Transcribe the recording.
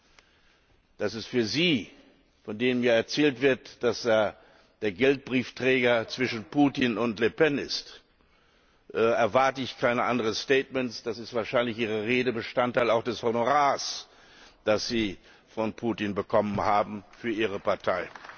Von Ihnen, von dem ja erzählt wird, dass er der Geldbriefträger zwischen Putin und Le Pen ist, erwarte ich kein anderes Statement, da ist wahrscheinlich Ihre Rede auch Bestandteil des Honorars, das Sie von Putin bekommen haben für Ihre Partei.